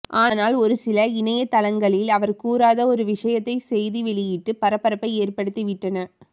ஆனால் ஒருசில இணையதளங்களில் அவர் கூறாத ஒரு விஷயத்தை செய்தி வெளியிட்டு பரபரப்பை ஏற்படுத்திவிட்டன